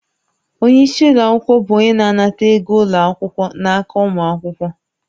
Onye isi ụlọ akwụkwọ bụ onye na-anata ego ụlọ akwụkwọ n'aka ụmụ akwụkwọ